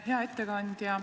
Hea ettekandja!